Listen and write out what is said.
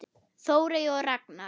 Þórey og Ragna.